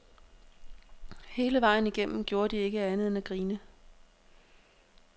Hele vejen igennem gjorde de ikke andet end at grine.